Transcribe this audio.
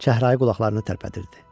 Çəhrayı qulaqlarını tərpədirdi.